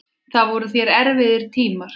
Það voru þér erfiðir tímar.